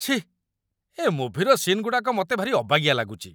ଛିଃ! ଏ ମୁଭିର ସିନ୍ସଗୁଡ଼ାକ ମତେ ଭାରି ଅବାଗିଆ ଲାଗୁଚି ।